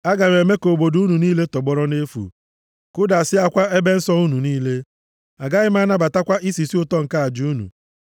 Aga m eme ka obodo unu niile tọgbọrọ nʼefu, kụdasịakwa ebe nsọ unu niile. Agaghị m anabatakwa isisi ụtọ nke aja unu.